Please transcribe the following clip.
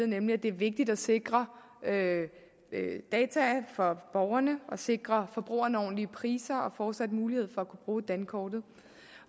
nemlig at det er vigtigt at sikre data for borgerne og sikre forbrugerne ordentlige priser og fortsat mulighed for at kunne bruge dankortet